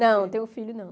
Não, tenho filho não.